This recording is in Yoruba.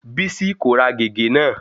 Bísí kò ra gègé náà.